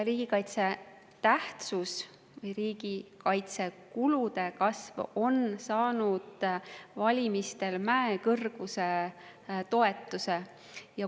Riigikaitse tähtsus või riigikaitsekulude kasv sai valimistel mäekõrguse toetuse.